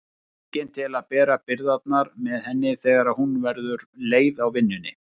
Enginn til að bera byrðarnar með henni þegar hún verður leið á vinnunni.